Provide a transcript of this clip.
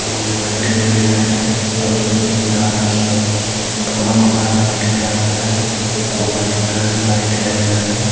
बंदे बैठे हुए हैं यहां पे और बिल्डिंग लगा रखी हैं पूरा मकान व्हाइट कलर का है और वाइट कलर में लाइटें लगी हुई हैं।